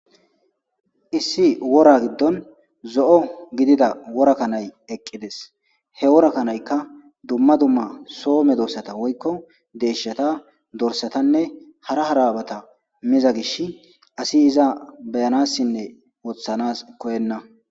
Issi wora gidoni zo'o gidida wora kanayi eqidesi, he wora kanayika duma duma soo medosata deshata dorisatane hara hara bata mizi gishasi asi iza beyanasinne wothanasi koyenna